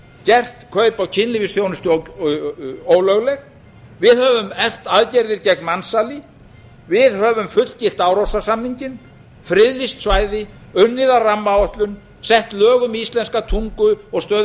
gert kaup á kynlífsþjónustu ólögleg við höfum eflt aðgerðir gegn mansali við höfum fullgilt árósasamninginn friðlýst svæði unnið að rammaáætlun sett lög um íslenska tungu og stöðu